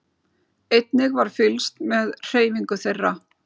Einnig var fylgst með hreyfingu þeirra